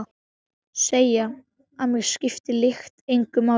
Segi að mig skipti lykt engu máli.